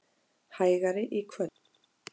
Hægari í kvöld